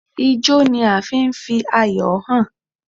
Ijọ́ ni a fi ń fi ayọ̀ hàn.